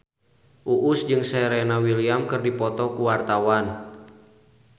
Uus jeung Serena Williams keur dipoto ku wartawan